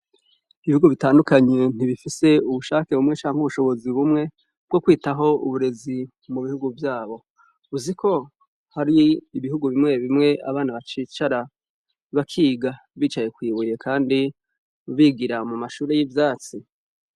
Ibihugu bitandukanye ntibifise ubushake bumwe canke ubushobozi bumwe bwo kwitaho uburezi mubihugu vyabo, uziko hariho ibihugu bimwe bimwe abana bacicara bakiga bicaye kwibuye kandi bigira mumashure yivyatsi.